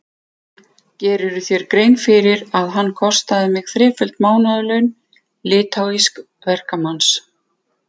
Gerirðu þér grein fyrir að hann kostaði mig þreföld mánaðarlaun litháísks verkamanns?